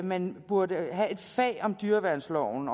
man burde have et fag om dyreværnsloven